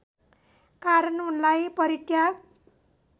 कारण उनलाई परित्याग